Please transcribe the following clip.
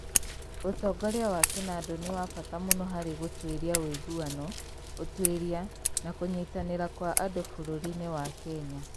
Ũtongoria wa kĩnandũ nĩ wa bata mũno harĩ gũtũũria ũiguano, ũtuĩria, na kũnyitanĩra kwa andũ bũrũri-inĩ wa Kenya.